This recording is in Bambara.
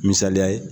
Misaliya ye